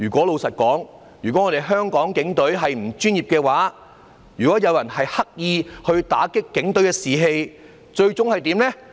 老實說，如果香港警隊不專業，如果有人刻意打擊警隊的士氣，最終會怎樣呢？